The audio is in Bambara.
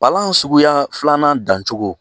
Palan suguya filanan dancogo